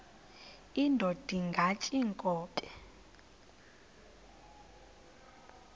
indod ingaty iinkobe